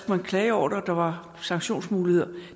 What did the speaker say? man klage over det og der var sanktionsmuligheder